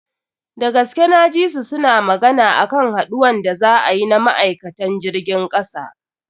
Dagaske na ji su suna magana akan haduwan da za a yi na ma'aikatan jirgin kasa.